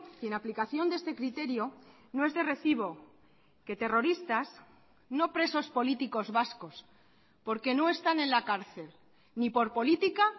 y en aplicación de este criterio no es de recibo que terroristas no presos políticos vascos porque no están en la cárcel ni por política